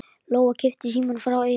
Lóa kippti símanum frá eyranu.